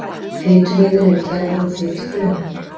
fituvefir eru gerðir úr fitufrumum